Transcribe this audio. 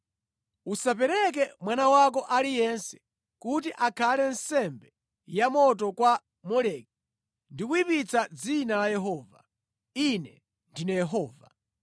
“ ‘Usapereke mwana wako aliyense kuti akhale nsembe yamoto kwa Moleki ndi kuyipitsa dzina la Yehova. Ine ndine Yehova.